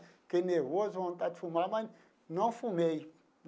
Fiquei nervoso, vontade de fumar, mas não fumei.